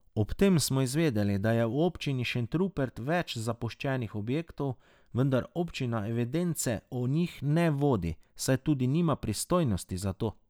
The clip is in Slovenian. Ob tem smo izvedeli, da je v občini Šentrupert več zapuščenih objektov, vendar občina evidence o njih ne vodi, saj tudi nima pristojnosti za to.